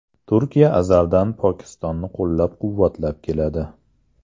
Turkiya azaldan Pokistonni qo‘llab-quvvatlab keladi.